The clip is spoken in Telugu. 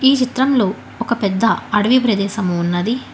ఈ చిత్రంలో ఒక పెద్ద అడవి ప్రదేశము ఉన్నది.